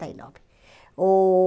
e nove. Oh